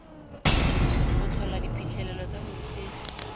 go tlhola diphitlhelelo tsa borutegi